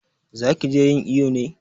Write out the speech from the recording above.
Za ki je yin iƴo ne?